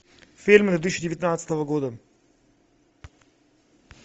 фильмы две тысячи девятнадцатого года